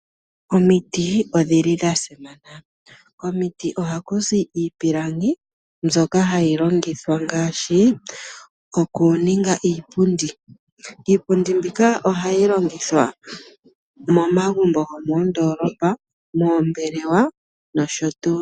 Omiti odhili dha simana. Komiti ohaku zi iipilangi mbyoka hayi longithwa ngaashi okuninga iipundi. Iipundi mbika ohayi longithwa momagumbo gomoondoolopa, moombelewa nosho tuu.